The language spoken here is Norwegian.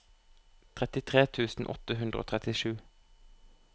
trettitre tusen åtte hundre og trettisju